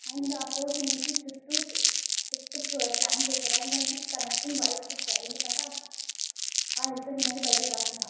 And a person ఐతే చుట్టు plants ఇక్కడ దాని కనెక్టింగ్ వైరస్ ఇచ్చాడు అందుకు అంటే వైరస్ అనేవి బయటికి రాకుండా.